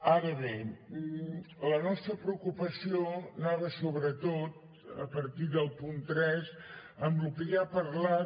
ara bé la nostra preocupació anava sobretot a partir del punt tres amb el que ja ha parlat